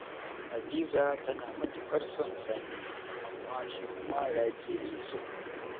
Hadiza tana matuƙar son Sani, amma shi kuma Rabi ya ke so.